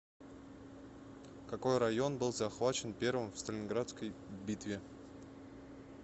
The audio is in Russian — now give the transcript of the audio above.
какой район был захвачен первым в сталинградской битве